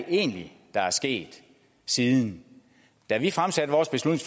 egentlig der er sket siden da vi fremsatte